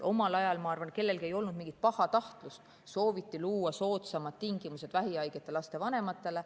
Omal ajal, ma arvan, ei olnud kellelgi mingit pahatahtlust, sooviti luua soodsamad tingimused vähihaigete laste vanematele.